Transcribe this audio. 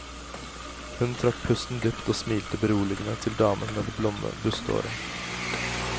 Hun trakk pusten dypt og smilte beroligende til damen med det blonde bustehåret.